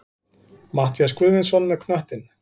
Matthías Guðmundsson með knöttinn.